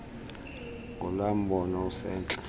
ngulaa mbono usentla